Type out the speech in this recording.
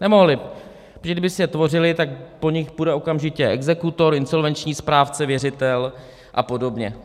Nemohli, protože kdyby si je tvořili, tak po nich půjde okamžitě exekutor, insolvenční správce, věřitel a podobně.